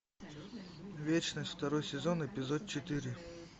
вечность второй сезон эпизод четыре